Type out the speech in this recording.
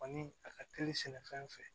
Kɔni a ka teli sɛnɛfɛn fɛ